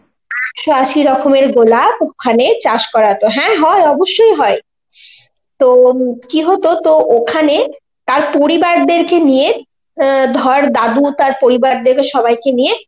একশ আশি রকমের গোলাপ ওখানে চাষ করা হতো, হ্যাঁ হয় অবশ্যই হয়. তো উম কি হতো, তো ওখানে তার পরিবারদেরকে নিয়ে অ্যাঁ ধর দাদু তার পরিবারদের সবাইকে নিয়ে